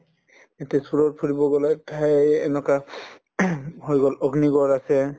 এহ্, তেজপুৰত ফুৰিব ঠাই এই এনেকুৱা হৈ গল অগ্নিগড় আছে